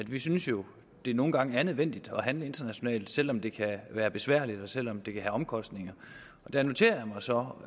vi synes jo det nogle gange er nødvendigt at handle internationalt også selv om det kan være besværligt og selv om det kan omkostninger der noterer jeg mig så